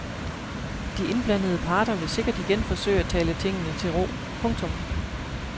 De indblandede parter vil sikkert igen forsøge at tale tingene til ro. punktum